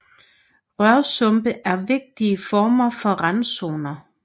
Rørsumpe er vigtige former for randzoner